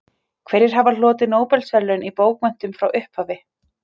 Hverjir hafa hlotið Nóbelsverðlaun í bókmenntum frá upphafi?